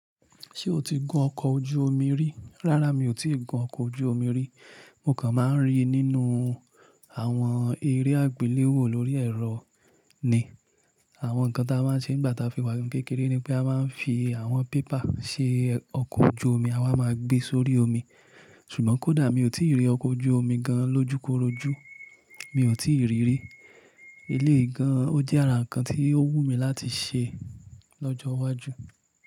Ṣé o ti gun ọkọ̀ ojú omi rí? Rárá, mi ò tí ì gun ọkọ̀ ojú omi rí. Mo kàn máa ń ríi nínú àwọn eré àgbéléwò lórí ẹ̀rọ ni. Àwọn nǹkan tí a máa ń ṣe nígbà tí a fi wà ni kékéré ni pé a máa ń fi àwọn paper ṣe ọkọ̀ ojú omi a wa máa gbé sórí omi. Ṣùgbọ́n kódà mi ò tí ì rí ọkọ̀ ojú omi gan lọjúkorojú, mi ò tí ì rí rí. Eléyii gan, ó jẹ́ ara nǹkan tí ó wù mí láti ṣe lọ́jọ́ iwájú.